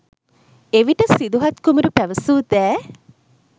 එවිට සිදුහත් කුමරු පැවසූ දෑ